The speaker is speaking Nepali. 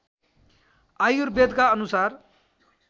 आयुर्वेदका अनुसार